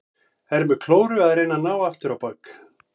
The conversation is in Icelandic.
Er með klóru að reyna að ná aftur á bak.